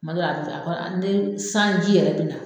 kuma dɔw a be kɔ ne sanji yɛrɛ bi na